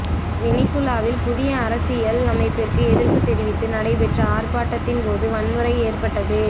வெனிசுலாவில் புதிய அரசியல் அமைப்பிற்கு எதிர்ப்பு தெரிவித்து நடைபெற்ற ஆர்ப்பாட்டத்தின் போது வன்முறை ஏற்பட்டது